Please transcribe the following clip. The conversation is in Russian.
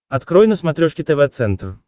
открой на смотрешке тв центр